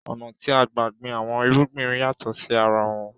Ọ̀nà tí a ń gbà gbìn àwọn irúgbìn yàtọ̀ sí arawọn